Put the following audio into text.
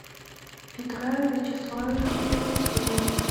петра вячеславовича евдокимова